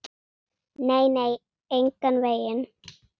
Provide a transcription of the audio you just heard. Nei, nei, engan veginn.